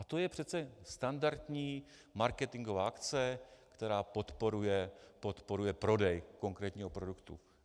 A to je přece standardní marketingová akce, která podporuje prodej konkrétního produktu.